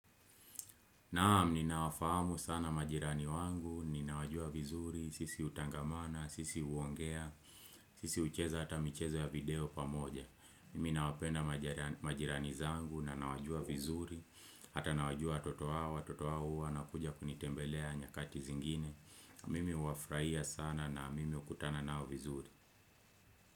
Naam, ninawafahamu sana majirani wangu, ninawajua vizuri, sisi utangamana, sisi uongea, sisi ucheza hata michezo ya video pamoja. Mimi nawapenda majirani zangu na nawajua vizuri, hata nawajua watoto wao huwa wanakuja kunitembelea nyakati zingine. Mimi huwafurahia sana na mimi ukutana nao vizuri.